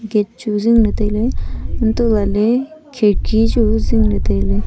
gate chu jing ley tailey antoh lah ley chu jing ley tailey.